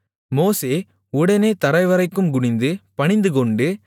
மோசே உடனே தரைவரைக்கும் குனிந்து பணிந்துகொண்டு